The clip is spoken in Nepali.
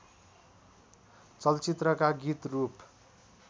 चलचित्रका गीत रूप